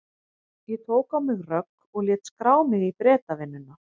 Ég tók á mig rögg og lét skrá mig í Bretavinnuna.